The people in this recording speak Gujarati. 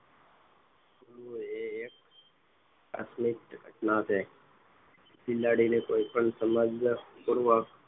એ એક આકસ્મિક ઘટના છે બિલાડીએ કોઈપણ સમજક પૂર્વક